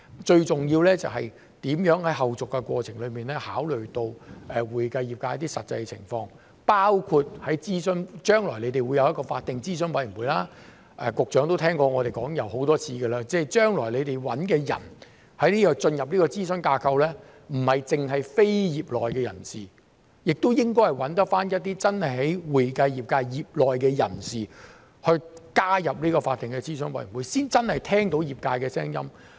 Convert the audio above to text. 最重要的就是如何在後續過程中考慮到會計業界的實際情況，包括在諮詢方面，將來你們會有一個法定諮詢委員會，局長都聽過我們說過很多次，將來你們找人進入這個諮詢架構，不應局限於非業內人士，亦應該找一些真正在會計業界業內的人士加入法定諮詢委員會，才能真的聽到業界的聲音。